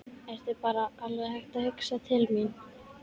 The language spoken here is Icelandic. Ertu bara alveg hættur að hugsa til mín?